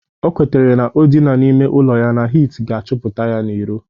O kwetere na o dina n'ime ụlọ ya na hit ga-achụpụta ya iro